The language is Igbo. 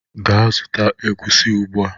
Gaa zụta egusi ugbua!